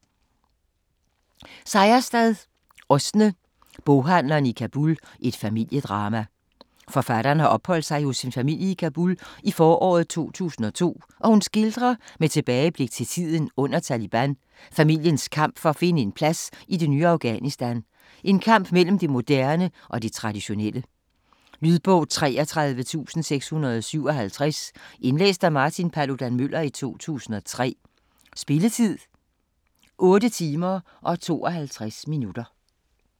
Seierstad, Åsne: Boghandleren i Kabul: et familiedrama Forfatteren har opholdt sig hos en familie i Kabul i foråret 2002 og hun skildrer, med tilbageblik til tiden under Taliban, familiens kamp for at finde en plads i det ny Afghanistan, en kamp mellem det moderne og det traditionelle. Lydbog 33657 Indlæst af Martin Paludan-Müller, 2003. Spilletid: 8 timer, 52 minutter.